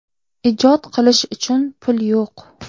Ijod qilish uchun pul yo‘q.